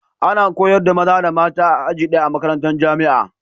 Ana koyar da maza da mata a aji daya,a makarantar jamia